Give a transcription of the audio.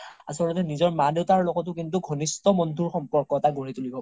আচল্তে নিজৰ মা দেউতাৰ লগতও কিন্তু ঘনিশ্ত বন্ধুৰ সম্পৰ্ক গঢ়ি তুলিব পাৰি